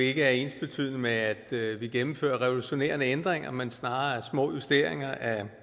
ikke er ensbetydende med at vi gennemfører revolutionerende ændringer men snarere små justeringer af